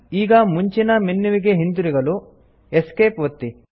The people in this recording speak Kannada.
ಈಗ ಮುಂಚಿನ ಮೆನ್ಯುವಿಗೆ ಹಿಂತಿರುಗಲು Esc ಒತ್ತಿ